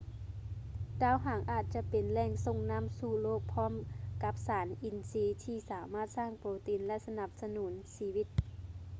ດາວຫາງອາດຈະເປັນແຫຼ່ງສົ່ງນໍ້າສູ່ໂລກພ້ອມກັບສານອິນຊີທີ່ສາມາດສ້າງໂປຣຕີນ ແລະ ສະໜັບສະໜູນຊີວິດ